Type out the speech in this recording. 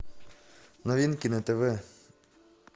новинки на тв